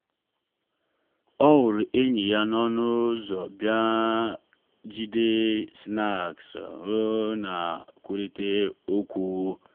o hụrụ enyi ya n’ọnụ ụzọ jide snacks bịa bịa kwurịta okwu.